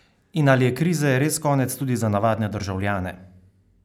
In ali je krize res konec tudi za navadne državljane?